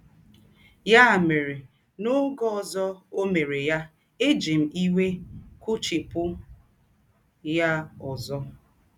Yá mèrè, n’ógè ọ̀zọ̀ ó mèrè yà, èjì m ìwé kpụ̀chìpụ̀ yà ǒzọ̀.